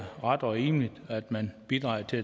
ret og rimeligt at man bidrager til